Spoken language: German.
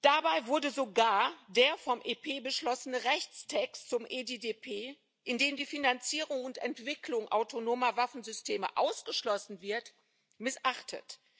Dabei wurde sogar der vom EP beschlossene Rechtstext zum EDDP, in dem die Finanzierung und Entwicklung autonomer Waffensysteme ausgeschlossen wird, missachtet.